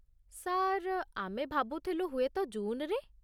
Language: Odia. ସାର୍, ଆମେ ଭାବୁଥିଲୁ ହୁଏତ ଜୁନ୍‌ରେ?